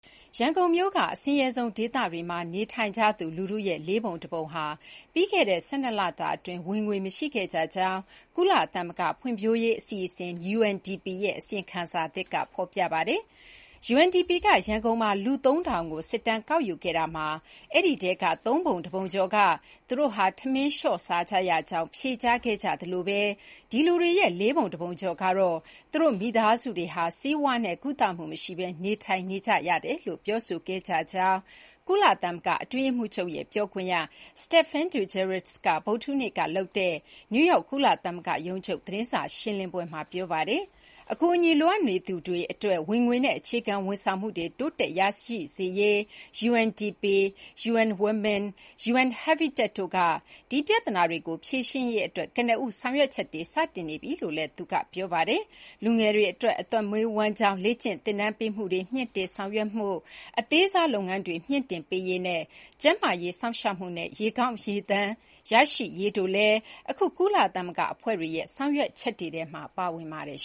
ရန်ကုန်မြို့က အဆင်းရဲဆုံးဒေသတွေမှာ နေထိုင်ကြသူလူထုရဲ့ လေးပုံတပုံဟာ ပြီးခဲ့တဲ့ ၁၂ လအတွင်း ဝင်ငွေမရှိခဲ့ကြကြောင်း ကုလသမဂ္ဂ ဖွံ့ဖြိုးရေးအစီအစဉ် UNDP ရဲ့ အစီရင်ခံစာသစ်က ဖော်ပြပါတယ်။ UNDP က ရန်ကုန်မှာ လူ ၃,၀၀၀ ကို စစ်တမ်းကောက်ယူခဲ့တာမှာ အဲဒီထဲက သုံးပုံတပုံကျော်က သူတို့ ထမင်းလျှော့စားကြကြောင်း ဖြေကြားခဲ့ကြသလို ဒီလူတွေရဲ့ လေးပုံတပုံကျော်ကတော့ သူတို့ မိသားစုတွေဟာ ဆေးဝါးနဲ့ကုသမှုမရှိဘဲ နေထိုင်နေကြရကြောင်း ပြောဆိုခဲ့ကြတယ်လို့ ကုလသမဂ္ဂအတွင်းရေးမှူးချုပ်ရဲ့ ပြောခွင့်ရ Stephane Dujarric က ဗုဒ္ဓဟူးနေ့က နယူးယောက် ကုလသမဂ္ဂရုံးချုပ် သတင်းစာရှင်းလင်းပွဲမှာ ပြောဆိုခဲ့ပါတယ်။ အကူအညီလိုအပ်နေသူတွေအတွက် ဝင်ငွေနဲ့ အခြေခံဝန်ဆေင်မှုတွေ တိုးတက် ရရှိစေရေးအတွက် UNDP ၊ UN Women နဲ့ UN – Habitat တို့က ဒီပြဿနာတွေကို ဖြေရှင်းရေးအတွက် ကနဦး ဆောင်ရွက်ချက်တွေ စတင်နေပြီလို့လည်း သူက ပြောပါတယ်။ လူငယ်တွေအတွက် အသက်မွေးဝမ်းကျောင်း လေ့ကျင်သင်တန်းပေးမှုတွေ မြှင့်တင်ဆောင်ရွက်မှု၊ အသေးစားလုပ်ငန်းတွေကို မြှင့်တင်ပေးရေးနဲ့ ကျန်းမာရေး စောင့်ရှောက်မှုနဲ့ ရေကောင်းရေသန့်ရရှိရေးတို့လည်း အခု ကုလသမဂ္ဂအဖွဲ့တွေရဲ့ ဆောင်ရွက်ချက်တွေထဲမှာ ပါဝင်ပါတယ်